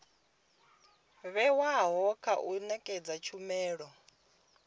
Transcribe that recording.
vhewaho kha u nekedza tshumelo